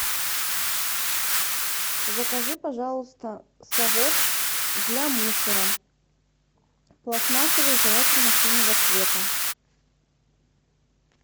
закажи пожалуйста совок для мусора пластмассовый желательно синего цвета